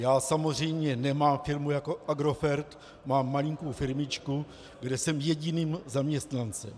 Já samozřejmě nemám firmu jako Agrofert, mám malinkou firmičku, kde jsem jediným zaměstnancem.